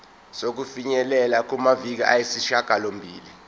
sokufinyelela kumaviki ayisishagalombili